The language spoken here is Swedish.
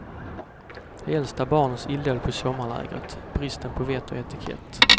De äldsta barnens illdåd på sommarlägret, bristen på vett och etikett.